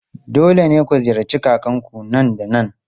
Dole ne ku ziyarci kakanku nan da nan!